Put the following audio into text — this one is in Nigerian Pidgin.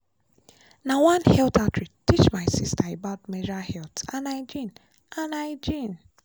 na one health outreach teach my sister about menstrual health and hygiene. and hygiene.